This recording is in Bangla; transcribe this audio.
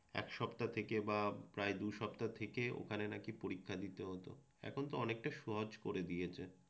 এক সপ্তাহ থেকে বা প্রায় দু সপ্তাহ থেকে ওখানে নাকি পরীক্ষা দিতে হত এখন তো অনেকটা সহজ করে দিয়েছে।